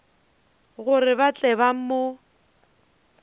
gore ba tle ba mo